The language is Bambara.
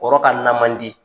Kɔrɔ ka na mandi.